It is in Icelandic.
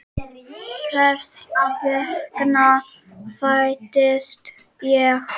Þess vegna fæddist ég.